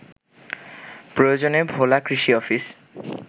প্রয়োজনে ভোলা কৃষি অফিস